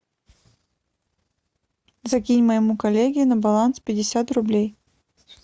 закинь моему коллеге на баланс пятьдесят рублей